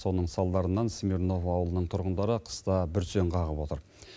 соның салдарынан смирново ауылының тұрғындары қыста бүрсең қағып отыр